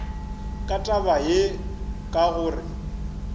ka taba ye ka gore